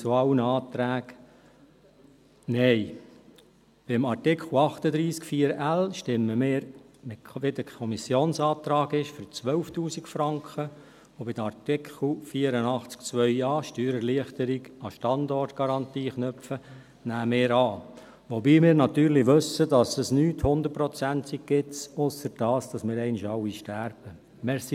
Beim Artikel 38 Absatz 1 Buchstabe l stimmen wir gemäss dem Kommissionsantrag für 12'000 Franken, und den Artikel 84 Absatz 2a, Steuererleichterung an die Standortgarantie knüpfen, nehmen wir an, wobei wir natürlich wissen, dass es nichts 100-Prozentiges gibt, ausser dass wir einmal alle sterben werden.